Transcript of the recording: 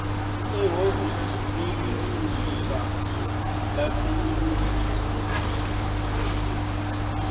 ehhovisi lelincusa laseningizimu